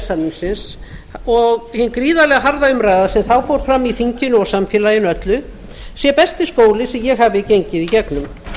samningsins og hin gríðarlega harða umræða sem þá fór fram í þinginu og samfélaginu öllu sé besti skóli sem ég hafi gengið í gegnum